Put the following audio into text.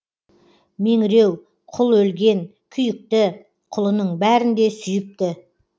меңіреу құл өлген күйікті құлының бәрін де сүйіпті